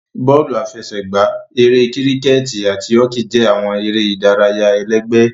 Bọọlu afẹsẹgba, Ere Kiriketi ati Hoki jẹ awọn ere idaraya ẹlẹgbẹ.